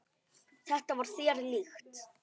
Þetta var þér líkt.